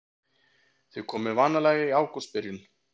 Þau komu vanalega í ágústbyrjun.